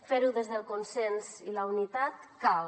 fer ho des del consens i la unitat cal